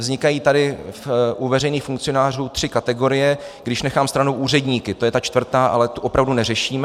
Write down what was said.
Vznikají tady u veřejných funkcionářů tři kategorie, když nechám stranou úředníky - to je ta čtvrtá, ale tu opravdu neřešíme.